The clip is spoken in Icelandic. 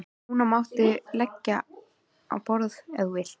Og núna máttu leggja á borð ef þú vilt.